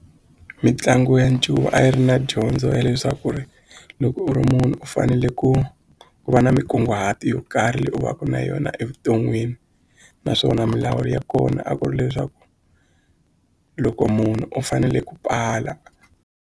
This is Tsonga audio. Mitlangu ya ncuva a yi ri na dyondzo ya leswaku ri loko u ri munhu u fanele ku va na minkunguhato yo karhi leyi u va ka na yona evuton'wini naswona milawu ya kona a ku ri leswaku loko munhu u fanele ku pala.